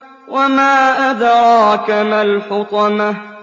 وَمَا أَدْرَاكَ مَا الْحُطَمَةُ